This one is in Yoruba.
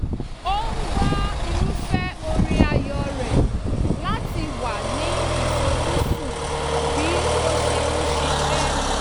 ó ń gbọ́ irúfẹ́ orin ààyò rẹ̀ láti wà ní ìfojúsùn bí ó ṣe ń ṣiṣẹ́